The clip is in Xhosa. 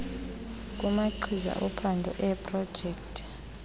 kumagqiza ophando eeprojekthi